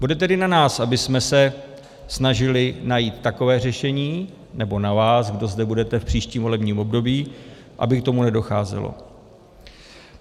Bude tedy na nás, abychom se snažili najít takové řešení, nebo na vás, kdo zde budete v příštím volební období, aby k tomu nedocházelo.